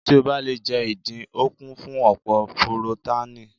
Tí o bá le jẹ́ ìdin, o kún fún ọ̀pọ̀ purotánìì.